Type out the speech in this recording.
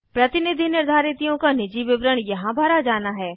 प्रतिनिधि निर्धारितियों का निजी विवरण यहाँ भरा जाना है